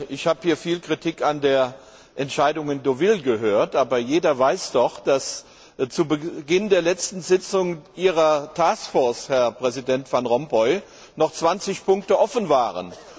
Ich habe hier viel Kritik an der Entscheidung von Deauville gehört, aber jeder weiß doch, dass zu Beginn der letzten Sitzung ihrer Herr Präsident Van Rompuy, noch 20 Punkte offen waren.